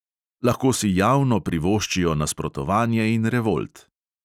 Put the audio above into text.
Lahko si javno privoščijo nasprotovanje in revolt.